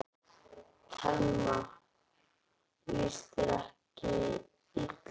Telma: Þér líst ekkert illa á hana?